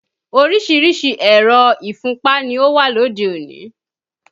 Oríṣiríṣi ẹ̀rọ̀ ìfúnpá ni ó wà lóde òní